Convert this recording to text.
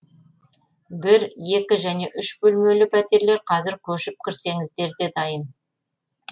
бір екі және үш бөлмелі пәтерлер қазір көшіп кірсеңіздер де дайын